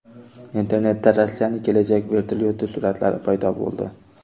Internetda Rossiyaning kelajak vertolyoti suratlari paydo bo‘ldi.